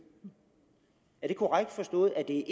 er det korrekt forstået at det